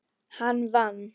Hann vann.